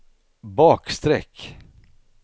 bakstreck